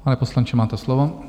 Pane poslanče, máte slovo.